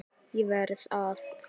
ÉG VERÐ AÐ